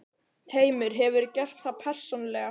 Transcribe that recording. Heimir: Hefurðu gert það persónulega?